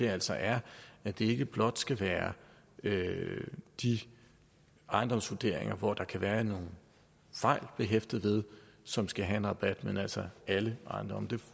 altså er at det ikke blot skal være de ejendomsvurderinger hvor der kan være nogle fejl behæftet som skal have en rabat men altså alle ejendomme